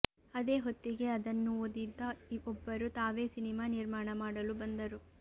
ಅದೇ ಹೊತ್ತಿಗೆ ಅದನ್ನು ಓದಿದ್ದ ಒಬ್ಬರು ತಾವೇ ಸಿನಿಮಾ ನಿರ್ಮಾಣ ಮಾಡಲು ಬಂದರು